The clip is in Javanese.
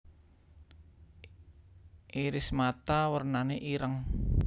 Iris mata wernane ireng